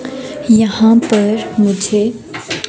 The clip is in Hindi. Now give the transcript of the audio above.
यहाँ पर मुझे--